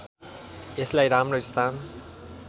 यसलाई राम्रो स्थान